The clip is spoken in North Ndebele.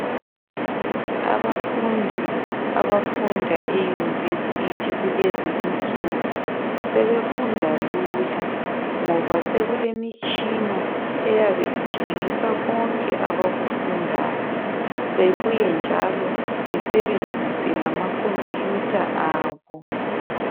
Abafundi abafunda eyunivesithi kulezi insuku sebefunda lula ngoba sekulemitshina eyabe itshengisa konke abakufundayo, bebuye njalo besebenzise lamakhompuyutha abo.